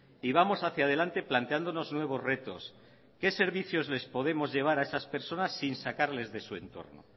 y vamos hacia delante planteándonos nuevos retos qué servicios les podemos llevar a esas personas sin sacarlas de su entorno